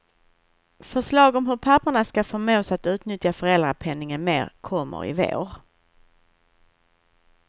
Förslag om hur papporna ska förmås att utnyttja föräldrapenningen mer kommer i vår.